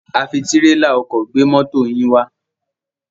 A fi tírélà ọkọ̀ gbé mọ́to yín wá.